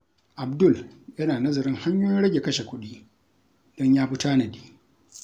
Abdul yana nazarin hanyoyin rage kashe kuɗi don ya fi tanadi.